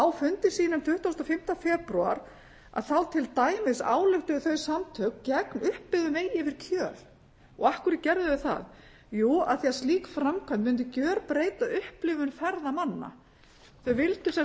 á fundi sínum tuttugasta og fimmta febrúar þá til dæmis ályktuðu þau samtök gegn uppbyggðum vegi yfir kjöl af hverju gerðu þau það jú af því slík framkvæmd mundi gjörbreyta upplifun ferðamanna þau vildu sem sagt